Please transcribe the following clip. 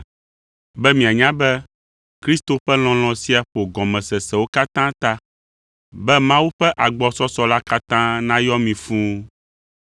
be mianya be Kristo ƒe lɔlɔ̃ sia ƒo gɔmesesewo katã ta, be Mawu ƒe agbɔsɔsɔ la katã nayɔ mi fũu.